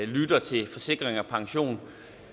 lytter til forsikring pension